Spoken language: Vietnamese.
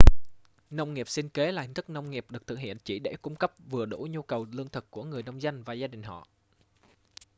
nông nghiệp sinh kế là hình thức nông nghiệp được thực hiện chỉ để cung cấp vừa đủ nhu cầu lương thực của người nông dân và gia đình họ